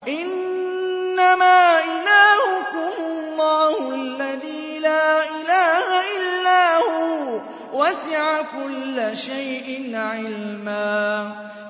إِنَّمَا إِلَٰهُكُمُ اللَّهُ الَّذِي لَا إِلَٰهَ إِلَّا هُوَ ۚ وَسِعَ كُلَّ شَيْءٍ عِلْمًا